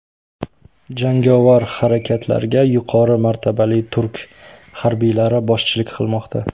Jangovar harakatlarga yuqori martabali turk harbiylari boshchilik qilmoqda.